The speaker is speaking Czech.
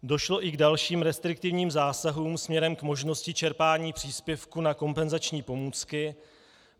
Došlo i k dalším restriktivním zásahům směrem k možnosti čerpání příspěvku na kompenzační pomůcky.